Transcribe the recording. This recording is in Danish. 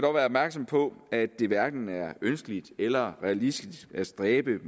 opmærksomme på at det hverken er ønskeligt eller realistisk at stræbe